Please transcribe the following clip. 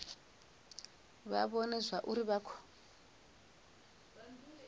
vha vhone zwauri vha khou